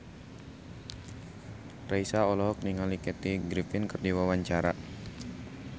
Raisa olohok ningali Kathy Griffin keur diwawancara